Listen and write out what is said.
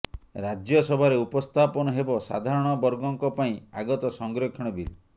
ରାଜ୍ୟସଭାରେ ଉପସ୍ଥାପନ ହେବ ସାଧାରଣ ବର୍ଗଙ୍କ ପାଇଁ ଆଗତ ସଂରକ୍ଷଣ ବିଲ୍